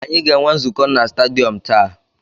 Anyị ga-enwe nzukọ na stadiyọm taa.